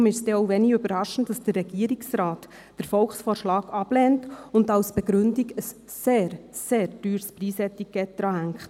Darum ist es denn auch wenig überraschend, dass der Regierungsrat den Volksvorschlag ablehnt und als Begründung ein sehr, sehr teures Preis-Etikett daran hängt.